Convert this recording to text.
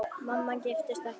Mamma giftist ekki aftur.